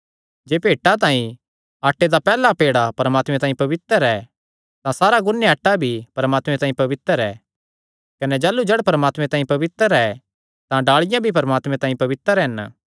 जे भेंटा तांई आटे दा पैहल्ला पेड़ा परमात्मे तांई पवित्र ऐ तां सारा गुन्या आटा भी परमात्मे तांई पवित्र ऐ कने जाह़लू जड़ परमात्मे तांई पवित्र ऐ तां डाल़िआं भी परमात्मे तांई पवित्र हन